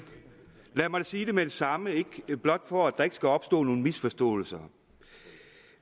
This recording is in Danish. lad mig sige det med samme for at der ikke skal opstå nogen misforståelser